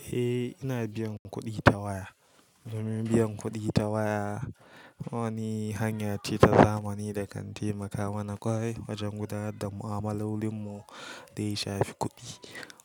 Eh, ina biyan kuɗi ta waya. Domin biyan kuɗi ta waya wani hanya ce ta zamani da kan taimaka mana ƙwarai wajen gudanar da mu'amalolinmu, da ya shafi kuɗi.